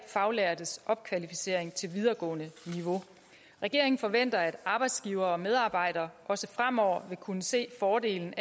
faglærtes opkvalificering til videregående niveau regeringen forventer at arbejdsgivere og medarbejdere også fremover vil kunne se fordelene